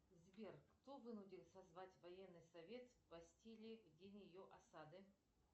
сбер кто вынудил созвать военный совет бастилии в день ее осады